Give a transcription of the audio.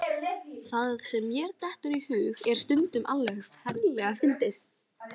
Það sem mér dettur í hug er stundum alveg ferlega fyndið.